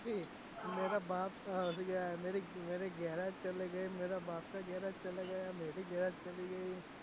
મેરા બાપ ભી ગેરાજ ચલા ગયા મેરા ગેરાજ કરને મેરા બાપ ગેરાજ ચલા ગયા મેં ભી ચલી ગઈ